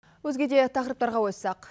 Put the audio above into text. өзге де тақырыптарға ойыссақ